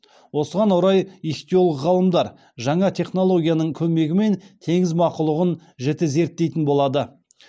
осыған орай ихтиолог ғалымдар жаңа технологияның көмегімен теңіз мақұлығын жіті зерттейтін болады